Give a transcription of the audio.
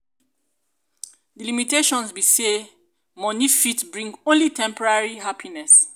di limitations be say money fit bring only temporary happiness.